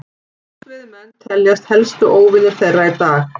Sportveiðimenn teljast helstu óvinir þeirra í dag.